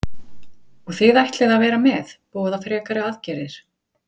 Þóra Kristín: Og þið ætlið að vera með, boða frekari aðgerðir?